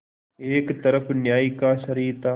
एक तरफ न्याय का शरीर था